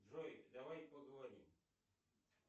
джой давай поговорим